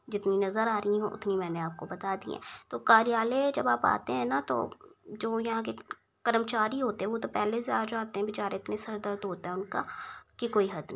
जितनी नज़र आ रही हैं उतनी मैंने आपको बता दी हैं तो कार्यालय जब आप आते हैं ना तो जो यहाँ के कर्मचारी होते हैं वो तो पहले से आ जाते हैं बेचारे इतने सर दर्द होता है उनका की कोई हद नहीं।